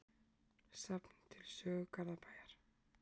Safn til sögu Garðabæjar.